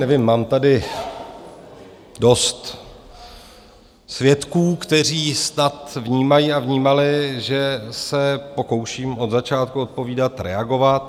Nevím, mám tady dost svědků, kteří snad vnímají a vnímali, že se pokouším od začátku odpovídat, reagovat.